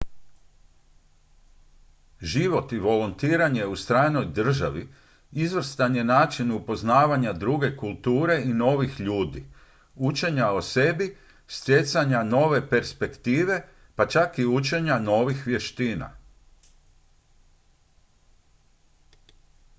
život i volontiranje u stranoj državi izvrstan je način upoznavanja druge kulture i novih ljudi učenja o sebi stjecanja nove perspektive pa čak i učenja novih vještina